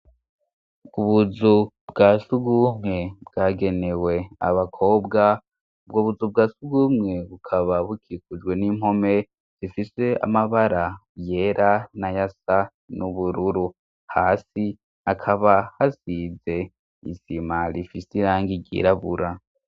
Ku buzu bwa si ugumwe bwagenewe abakobwa ubwo buzu bwa si ugumwe bukaba bukikujwe n'impome zifishe amabara yera na ya sa n'ubururu hasi akaba hasize isima lifise ilangi ryirabura.